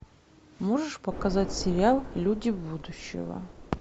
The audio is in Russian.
можешь показать сериал люди будущего